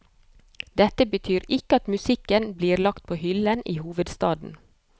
Dette betyr ikke at musikken blir lagt på hyllen i hovedstaden.